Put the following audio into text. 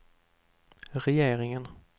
regeringen